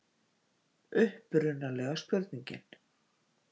Upprunalega spurningin: